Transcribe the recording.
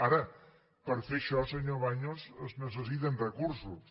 ara per fer això senyor baños es necessiten recursos